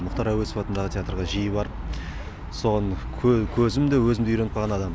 мұхтар әуезов атындағы театрға жиі барып соған көзім де өзім де үйреніп қалған адаммын